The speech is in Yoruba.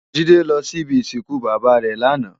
Jide lò si ibi isinkún baba rè làná